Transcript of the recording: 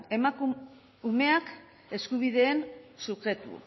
umeak eskubideen subjektu